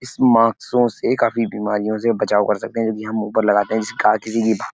इस मास्कों से काफी बीमारियों से बचाव कर सकते हैं यदि हम मुँहपर लगाते हैं जैसे कि --